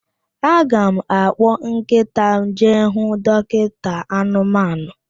Aga m akpọ nkịta m jee hụ dọkinta anụmanụ.